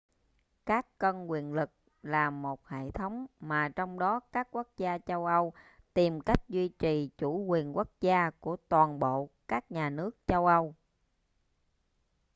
các cân quyền lực là một hệ thống mà trong đó các quốc gia châu âu tìm cách duy trì chủ quyền quốc gia của toàn bộ các nhà nước châu âu